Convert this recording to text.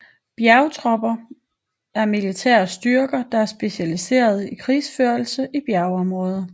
Bjergtropper er militære styrker der er specialiseret i krigsførelse i bjergområder